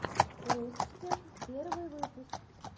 руссфегг первый выпуск